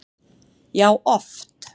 Já, oft